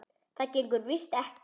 Það gengur víst ekki.